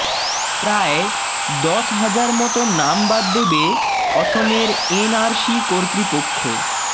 প্রায় দশ হাজার মত নাম বাদ দেবে অসমের এনআরসি কর্তৃপক্ষ